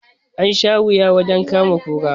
An sha wuya wajen kama kura